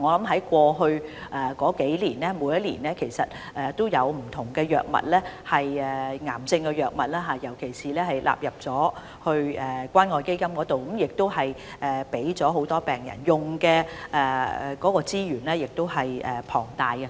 在過去數年，其實每年也有不同藥物，尤其是治療癌症的藥物，納入關愛基金，並提供給很多病人使用，動用了龐大資源。